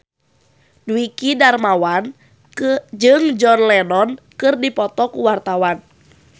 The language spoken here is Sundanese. Dwiki Darmawan jeung John Lennon keur dipoto ku wartawan